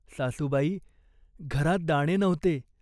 तळी आटली. लोक म्हणत समुद्रसुद्धा आटेल.